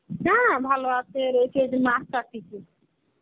হ্যাঁ, ভালো আছে রেখে